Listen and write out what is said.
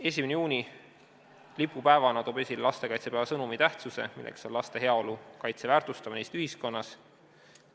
1. juuni lipupäevana toob esile lastekaitsepäeva sõnumi tähtsuse, milleks on laste heaolu ja kaitse väärtustamine Eesti ühiskonnas.